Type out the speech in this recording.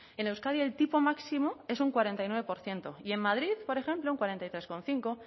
en euskadi el tipo máximo es un cuarenta y nueve por ciento y en madrid por ejemplo un cuarenta y tres coma cinco